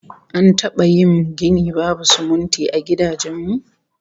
An taba yin gini babu sumunti a gidajen mu?